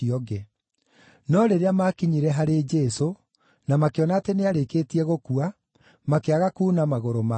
No rĩrĩa maakinyire harĩ Jesũ na makĩona atĩ nĩarĩkĩtie gũkua, makĩaga kuuna magũrũ make.